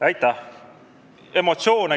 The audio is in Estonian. Aitäh!